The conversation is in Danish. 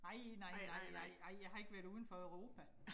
Nej nej nej nej nej, jeg har ikke været udenfor Europa